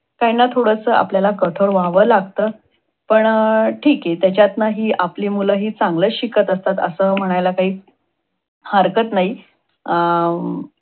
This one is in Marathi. काहींना थोडस आपल्याला कठोर व्हाव लागत, पण ठीक आहे. पण त्याच्यातन हि आपली मुले ही चांगलच शिकत असतात. अस म्हणायला काही हरकत नाही. अह